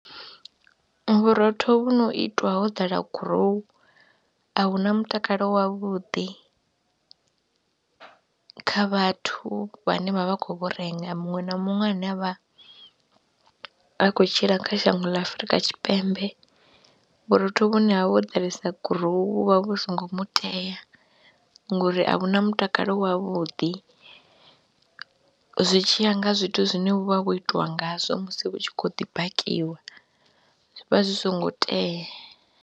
Vhurotho vhu no itwa ho ḓala gurowu a hu na mutakalo wavhuḓi kha vhathu vhane vha vha khou vhu renga, muṅwe na muṅwe ane a vha vha khou tshila kha shango ḽa Afrika Tshipembe vhurotho vhune ha vha ho ḓalesa gurowu vhu vha vhu songo mu tea ngori a vhu na mutakalo wavhuḓi zwi tshi ya nga zwithu zwine vhu vha vho itiwa ngazwo musi vhu tshi khou ḓi bakiwa, zwi vha zwi songo tea.